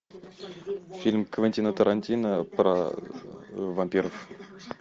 фильм квентина тарантино про вампиров